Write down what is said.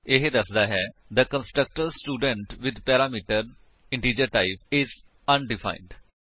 ਇਹ ਦੱਸਦਾ ਹੈ ਕਿ the constructor student with parameter is undefined